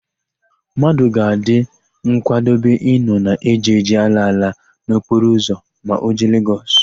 Mmadụ ga-adị nkwadobe ịnọ na èjèèjè, álaála n'okporoụzọ ma o jee Legọs.